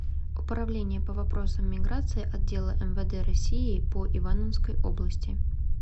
управление по вопросам миграции отдела мвд россии по ивановской области